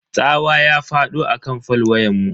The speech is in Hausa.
Tsawa ya fado akan fol wayanmu.